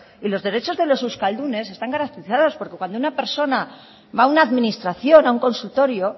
y los derechos de los euskaldunes están garantizados porque cuando una persona va a una administración a un consultorio